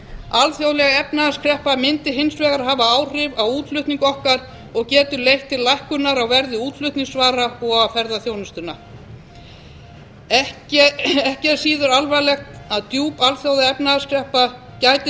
alþjóðleg efnahagskreppa mundi hins vegar hafa áhrif á útflutning okkar og getur leitt til lækkunar á verði útflutningsvara og á ferðaþjónustuna ekki er síður alvarlegt að djúp alþjóðaefnahagskreppa gæti